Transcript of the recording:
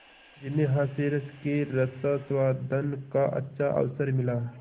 जिन्हें हास्यरस के रसास्वादन का अच्छा अवसर मिला